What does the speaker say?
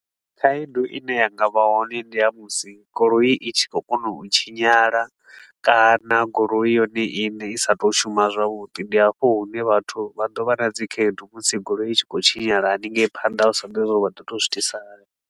Khaedu i ne ya nga vha hone ndi ya musi goloi i tshi khou kona u tshinyala kana goloi yone iṋe i sa tou shuma zwavhuḓi. Ndi hafho hune vhathu vha ḓo vha na dzikhaedu musi goloi i tshi khou tshinyala hanengei phanda hu sa ḓivhei zwa uri vha ḓo tou zwi itisa hani.